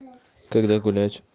когда гулять